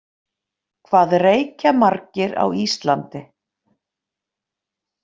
Hvað reykja margir á Íslandi?